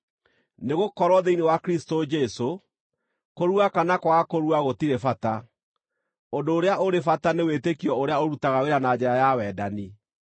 Nĩgũkorwo thĩinĩ wa Kristũ Jesũ, kũrua kana kwaga kũrua gũtirĩ bata. Ũndũ ũrĩa ũrĩ bata nĩ wĩtĩkio ũrĩa ũrutaga wĩra na njĩra ya wendani.